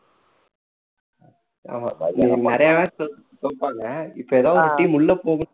ஆமா நெறைய match தோப்பாங்க இப்போ ஏதாவது team உள்ள போகும்